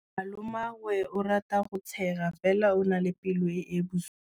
Malomagwe o rata go tshega fela o na le pelo e e bosula.